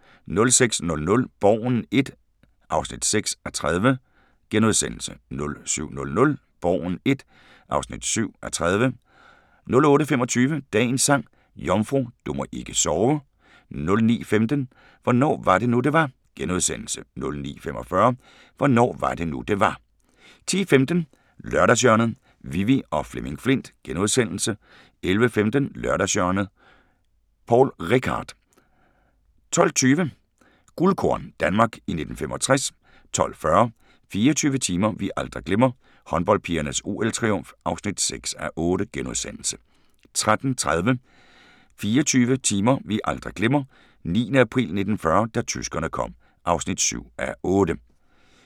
06:00: Borgen I (6:30)* 07:00: Borgen I (7:30) 08:25: Dagens Sang: Jomfru, du må ikke sove 09:15: Hvornår var det nu det var. * 09:45: Hvornår var det nu det var 10:15: Lørdagshjørnet - Vivi og Flemming Flindt * 11:15: Lørdagshjørnet – Poul Reichhardt 12:20: Guldkorn – Danmark i 1965 12:40: 24 timer vi aldrig glemmer: Håndboldpigernes OL-triumf (6:8)* 13:30: 24 timer vi aldrig glemmer: 9. april 1940 – da tyskerne kom (7:8)